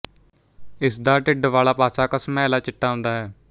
ਇਸ ਦਾ ਢਿੱਡ ਵਾਲਾ ਪਾਸਾ ਘਸਮੈਲਾ ਚਿੱਟਾ ਹੁੰਦਾ ਹੈ